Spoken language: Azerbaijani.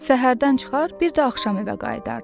Səhərdən çıxar, bir də axşam evə qayıdardı.